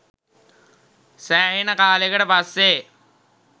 සෑහෙන කාලෙකට පස්සේ